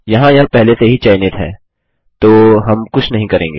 यहाँ यह पहले से ही चयनित है तो हम कुछ नहीं करेंगे